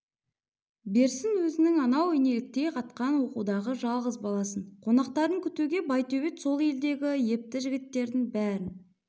берсін өзінің анау инеліктей қатқан оқудағы жалғыз баласын қонақтарын күтуге байтөбет сол елдегі епті жігіттердің бәрін